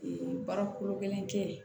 baara kolo gɛlɛn tɛ yen